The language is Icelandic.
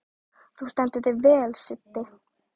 Þú stendur þig vel, Siddi!